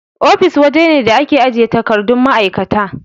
Ofis waje ne da ake ajiye takardun ma'aikata.